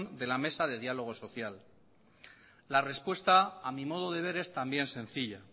de la mesa de diálogo social la respuesta a mi modo de ver es también sencilla